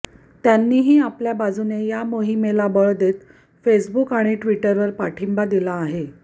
त्यांनीही आपल्या बाजूने या मोहिमेला बळ देत फेसबुक आणि ट्विटरवर पाठिंबा दिला आहे